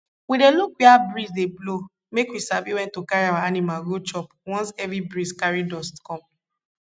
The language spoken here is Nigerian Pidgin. we dey look wia breeze dey blow make we sabi wen to carry our animal go chop once heavy breeze carry dust come